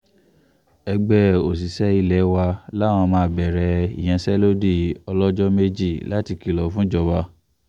ẹgbẹ́ òṣìṣẹ́ ilé wa làwọn máa bẹ̀rẹ̀ ìyanṣẹ́lódì ọlọ́jọ́ méjì láti kìlọ̀ fún ìjọba